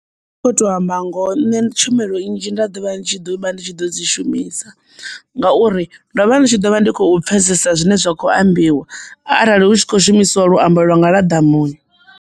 Ndi kho to amba ngoho nṋe tshumelo nnzhi nda ḓo vha ndi tshi ḓo vha ndi tshi ḓo dzi shumisa ngauri ndo vha ndi tshi ḓo vha ndi khou pfesesa zwine zwa kho ambiwa arali hu tshi khou shumisiwa luambo lwa nga lwa ḓamuni.